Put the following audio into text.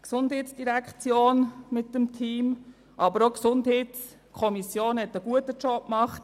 Die GEF und ihr Team, aber auch die GSoK haben einen guten Job gemacht.